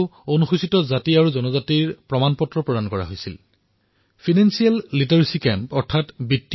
তাতেই ক্ৰীড়াৰ সামগ্ৰী মনৰেগাৰ জব কাৰ্ড আৰু এছচিএছটিৰ স্বীকৃতিপত্ৰও প্ৰদান কৰা হৈছিল